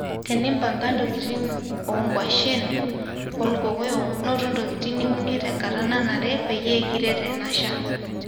tenipanga tokitin okwashen olkkoyok noto ntokitin niunie tekata nanare peyie kiret enashan